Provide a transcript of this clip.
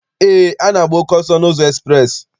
Eé, a na-agba oke ọsọ n'ụzọ ekspreesị.